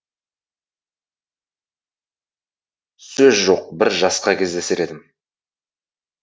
сөз жоқ бір жасқа кездесер едім